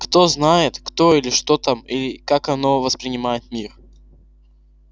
кто знает кто или что там и как оно воспринимает мир